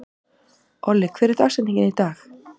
Olli, hver er dagsetningin í dag?